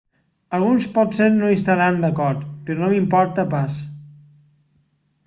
alguns potser no hi estaran d'acord però no m'importa pas